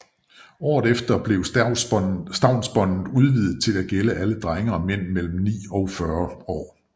Året efter blev stavnsbåndet udvidet til at gælde alle drenge og mænd mellem ni og 40 år